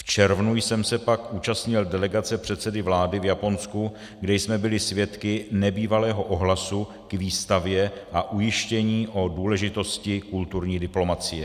V červnu jsem se pak účastnil delegace předsedy vlády v Japonsku, kde jsme byli svědky nebývalého ohlasu k výstavě a ujištění o důležitosti kulturní diplomacie.